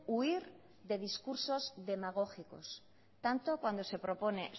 huir de discursos demagógicos tanto cuando se propone